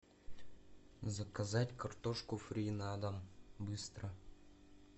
заказать картошку фри на дом быстро